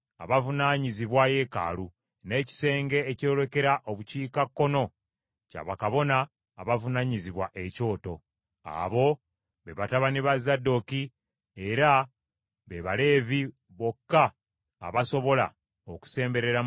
n’ekisenge ekyolekera Obukiikakkono kya bakabona abavunaanyizibwa ekyoto. Abo be batabani ba Zadooki, era be Baleevi bokka abasobola okusemberera Mukama okumuweereza.”